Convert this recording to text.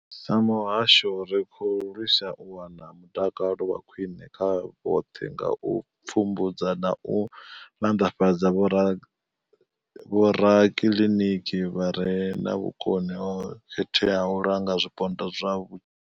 Sa muhasho, ri khou lwisa u wana mutakalo wa khwiṋe kha vhoṱhe nga u pfumbudza na u maanḓafhadza vhorakiliniki vha re na vhukoni ho khetheaho u langa zwipondwa zwa.